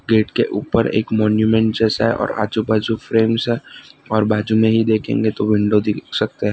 Gate के ऊपर एक मॉन्यूमेंट जैसा है और आजू बाजू फ्रेम्स है और बाजू मे ही देखेंगे तो विंडो दिख सकते हैं।